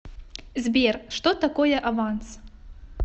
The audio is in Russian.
сбер что такое аванс